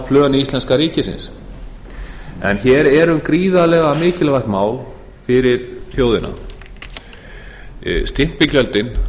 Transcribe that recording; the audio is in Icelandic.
fjárhagsplön íslenska ríkisins hér er um gríðarlega mikilvægt mál fyrir þjóðina stimpilgjöldin